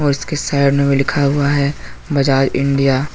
उसके साइड में लिखा हुआ हैं बाजार इंडिया ।